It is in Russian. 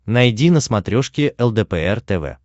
найди на смотрешке лдпр тв